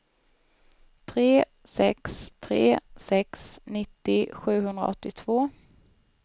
tre sex tre sex nittio sjuhundraåttiotvå